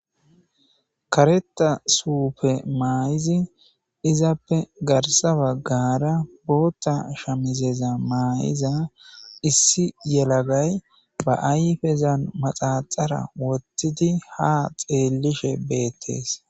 Kaareta suppe maayizi izappe garissa bagara boththa shamizezza mayiza issi yeelagayi baa ayifezzanni maaxaxara wothidi haa xellishshe betees.